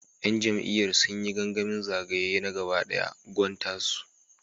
‘Yan jam’iyyar sun yi gangamin zagaye na gaba dayan Gwan Tasu.